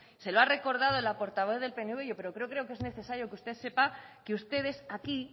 se lo ha recordado la portavoz del pnv pero creo que es necesario que usted sepa que ustedes aquí